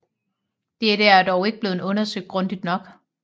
Dette er dog ikke blevet undersøgt grundigt nok